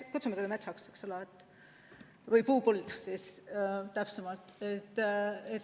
Me kutsume seda metsaks, aga tegelikult on see puupõld.